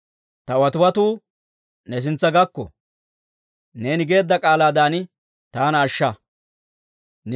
Ta watiwatuu ne sintsa gakko; neeni geedda k'aalaadan taana ashsha.